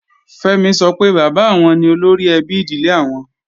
Fẹ́mi sọ pé bàbá àwọn ni olóríẹbí ìdílé àwọn